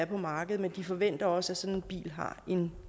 på markedet men de forventer også at sådan en bil har en